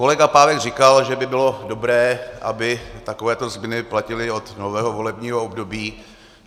Kolega Pávek říkal, že by bylo dobré, aby takovéto změny platily od nového volebního období.